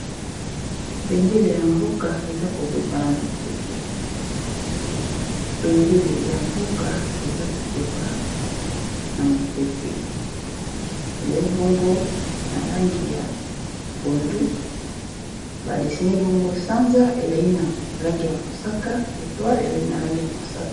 Bendele ya mboka eza kopepa na mopepe, bendele ya mboka eza kopepa na mopepe ezali bongo na langi ya pondu ba desine bongo sanza ezali nalangi ya mosaka etoile ezali na langi ya mosaka.